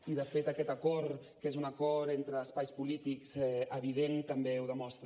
i de fet aquest acord que és un acord entre espais polítics evident també ho demostra